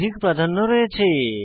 এর অধিক প্রাধান্য রয়েছে